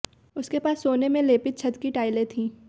उसके पास सोने में लेपित छत की टाइलें थीं